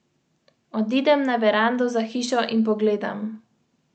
Najprej dajo primerek v aceton, ki iz telesa odstrani vso vodo.